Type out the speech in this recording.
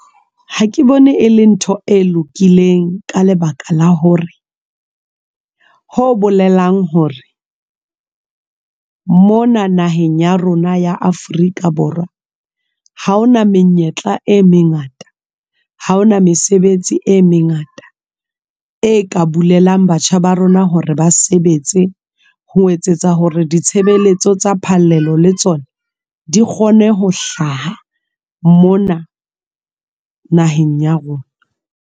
Ha ke bone e le ntho e lokileng ka lebaka la hore ho bolelang hore mona naheng ya rona ya Afrika Borwa ha hona menyetla e mengata, ha hona mesebetsi e mengata e ka bulelang batjha ba rona hore ba sebetse ho etsetsa hore ditshebeletso tsa phallelo le tsona di kgone ho hlaha mona naheng ya rona.